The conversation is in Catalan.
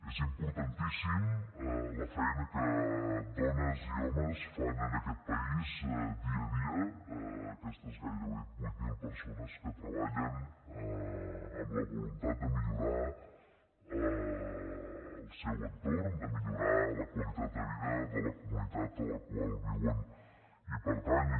és importantíssima la feina que dones i homes fan en aquest país dia a dia aquestes gairebé vuit mil persones que treballen amb la voluntat de millorar el seu entorn de millorar la qualitat de vida de la comunitat a la qual viuen i pertanyen